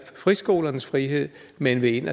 friskolernes frihed men vil ind